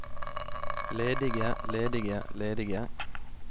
ledige ledige ledige